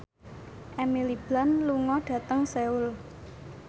Emily Blunt lunga dhateng Seoul